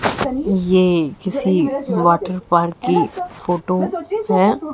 ये किसी वॉटरपार्क की फोटो हैं।